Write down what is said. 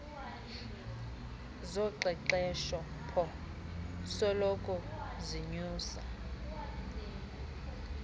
zoqeqeshpo soloko zinyusa